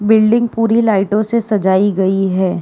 Building पूरी लाइटों से सजाई गयी है।